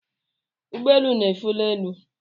Ụgbọelu n'éfè n'elu.